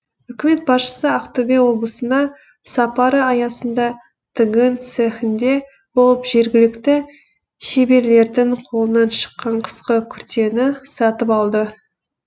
үкімет басшысы ақтөбе облысына сапары аясында тігін цехінде болып жергілікті шеберлердің қолынан шыққан қысқы күртені сатып алды